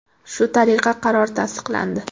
Shu tariqa qaror tasdiqlandi.